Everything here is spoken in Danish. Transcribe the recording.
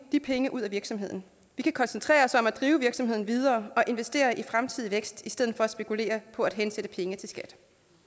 de penge ud af virksomheden vi kan koncentrere os om at drive virksomheden videre og investere i fremtidig vækst i stedet for at spekulere på hensætte penge til skat